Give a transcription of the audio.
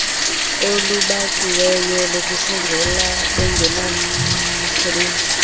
olubaxiweyo lokusongela bengenamsebenzi